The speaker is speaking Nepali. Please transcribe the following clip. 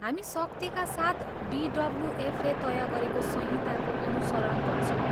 हामी सख्तीका साथ बिडब्ल्युएफले तय गरेको संहिताको अनुसरण गर्छौँ।